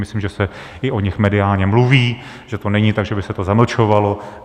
Myslím, že se i o nich mediálně mluví, že to není tak, že by se to zamlčovalo.